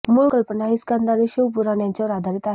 मूळ कल्पना ही स्कंद आणि शिवपुराण यांच्यावर आधारित आहे